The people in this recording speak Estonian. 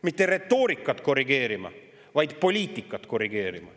Mitte retoorikat korrigeerima, vaid poliitikat korrigeerima.